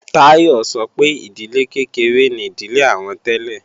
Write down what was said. Táyọ̀ sọ pé ìdílé kékeré ni ìdílé àwọn tẹ́lẹ̀